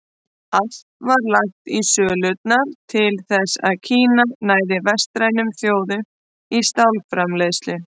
Allt var lagt í sölurnar til þess að Kína næði vestrænum þjóðum í stálframleiðslu.